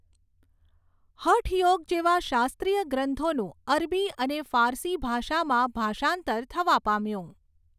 હઠયોગ જેવા શાસ્ત્રીય ગ્રંથોનું અરબી અને ફારસી ભાષામાં ભાષાંતર થવા પામ્યું.